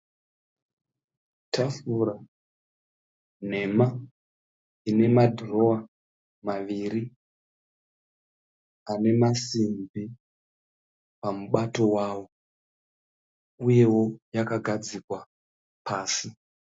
Tafura nhema ine madhirowa maviri ane masimbi pamubato wawo uyewo yakagadzikwa pasi.